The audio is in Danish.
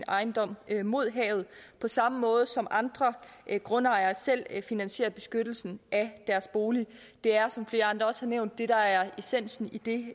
ejendom mod havet på samme måde som andre grundejere selv finansierer beskyttelsen af deres bolig det er som flere andre også har nævnt det der er essensen i det